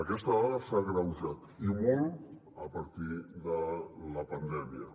aquesta dada s’ha agreujat i molt a partir de la pandèmia